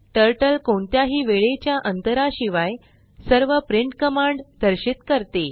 turtle कोणत्याही वेळेच्या अंतरा शिवाय सर्व प्रिंट कमांड दर्शित करते